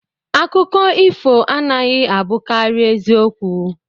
Akụkọ ifo anaghị abụkarị ezi okwu